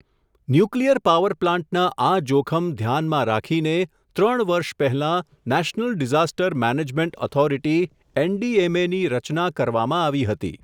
Nuclear power પ્લાન્ટના આ જોખમ, ધ્યાનમાં રાખીને, ત્રણ વર્ષ પહેલાં national disaster management authority NDMA ની, રચના કરવામાં આવી હતી.